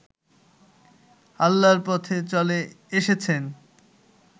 আল্লাহর পথে চলে এসেছেন